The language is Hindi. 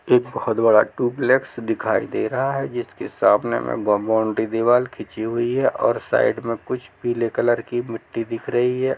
एक बहुत बड़ा ट्यूबलेक्स दिखाई दे रहा है जिसके सामने में बबन की दीवाल खींची हुई हैऔर साइड में कुछ पीले कलर की मिट्टी दिख रही है।